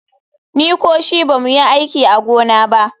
Ni ko shi ba mu yi aiki a gona ba.